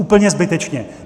Úplně zbytečně.